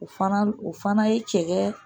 O fana o fana ye cɛkɛ